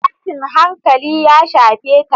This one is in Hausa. Tashin hankali ya shafe ta.